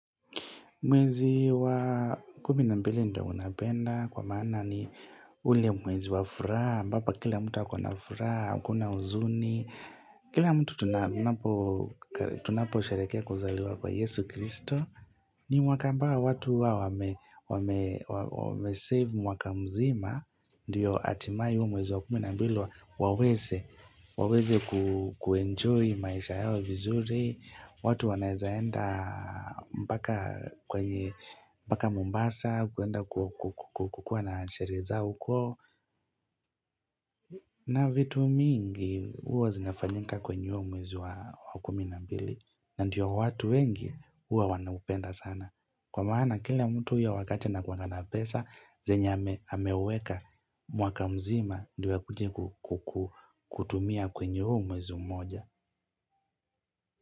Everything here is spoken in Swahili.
Mwezi wa kumi na mbili ndio unapenda kwa maana ni ule mwezi wa furaha, ambapo kila mtu akona furaha, hakuna huzuni, kila mtu tunaposherehekea kuzaliwa kwa Yesu Kristo. Mpaka watu huwa wamesave mwaka mzima ndiyo hatimaye hiyo mwezi wa kumi na mbili waweze kuenjoy maisha yao vizuri watu wanaeza enda mpaka mombasa kwenda kukuwa na sherehe zao huko na vitu mingi huwa zinafanyika kwenye huo mwezi wa kumi na mbili. Na ndiyo watu wengi huwa wanaupenda sana. Kwa maana kila mtu hiyo wakati anakuanga na pesa, zenye ameweka mwaka mzima ndiyo akuje kutumia kwenye huu mwezi mmoja.